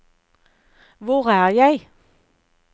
hvor er jeg